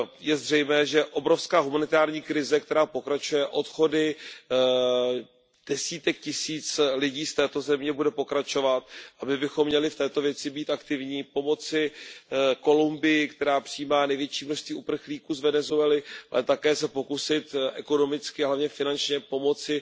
Je zřejmé, že obrovská humanitární krize, která pokračuje odchody desítek tisíc lidí z této země, bude pokračovat a my bychom měli v této věci být aktivní, pomoci Kolumbii, která přijímá největší množství uprchlíků z Venezuely, ale také se pokusit ekonomicky, ale hlavně finančně pomoci